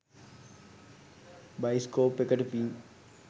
Bioscope එකට පින්.